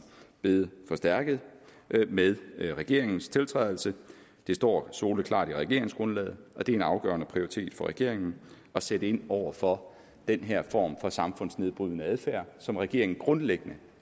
blevet forstærket med regeringens tiltrædelse det står soleklart i regeringsgrundlaget og det er en afgørende prioritet for regeringen at sætte ind over for den her form for samfundsnedbrydende adfærd som regeringen grundlæggende